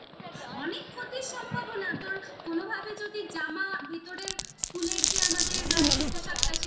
অনেক ক্ষতির সম্ভাবনা তোর কোনো ভাবে যদি জামা ভেতরের যে আমাদের আর কি পোশাকটা সেটা